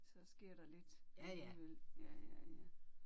Så sker der lidt alligevel ja ja ja